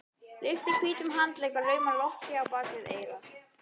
Lyftir hvítum handlegg og laumar lokki á bak við eyra.